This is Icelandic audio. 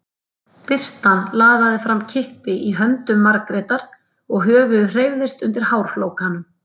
Birtan laðaði fram kippi í höndum Margrétar og höfuðið hreyfðist undir hárflókanum.